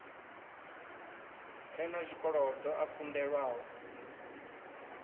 re na zwikolodo a kunḓelwaho